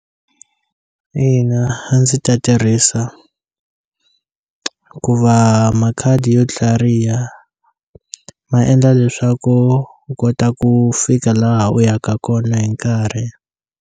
Ina a ndzi ta tirhisa ku va makhadi yo tlhariha ma endla leswaku u kota ku fika laha u yaka kona hi nkarhi.